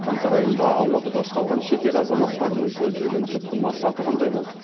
қаңтар айында алматыда ұсталған шетел азаматтарының көздеген түпкі мақсаты қандай болды